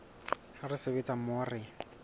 ha re sebetsa mmoho re